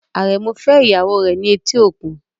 Aremu married his wife at the seaport